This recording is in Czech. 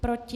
Proti?